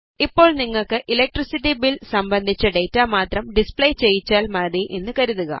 ഇപ്പോൾ നിങ്ങൾക്ക് electricity bill സംബന്ധിച്ച ഡേറ്റ മാത്രം ഡിസ്പ്ലേ ചെയ്യിച്ചാൽ മതി എന്ന് കരുതുക